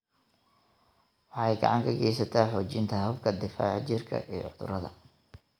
Waxay gacan ka geysataa xoojinta habka difaaca jirka ee cudurrada.